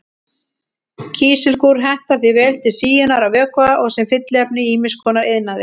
Kísilgúr hentar því vel til síunar á vökva og sem fylliefni í ýmis konar iðnaði.